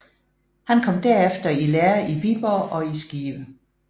Han kom derefter i lære i Viborg og i Skive